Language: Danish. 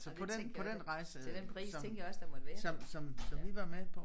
Ja det tænkte jeg. Til den pris tænkte jeg også der måtte være det ja